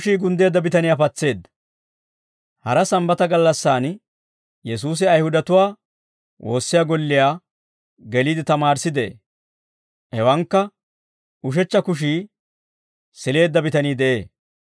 Hara sambbata gallassaan Yesuusi Ayihudatuwaa woossiyaa golliyaa geliide tamaarissi de'ee. Hewankka ushechcha kushii sileedda bitanii de'ee.